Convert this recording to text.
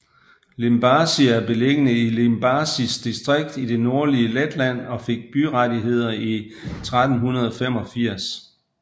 Limbaži er beliggende i Limbažis distrikt i det nordlige Letland og fik byrettigheder i 1385